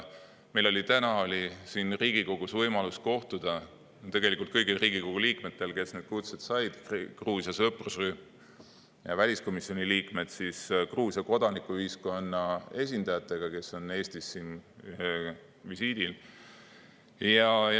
Meil oli täna siin Riigikogus võimalus kõigil Riigikogu liikmetel, kes kutse said – see oli Gruusia sõprusrühm ja väliskomisjoni liikmed –, kohtuda Gruusia kodanikuühiskonna esindajatega, kes on Eestis visiidil.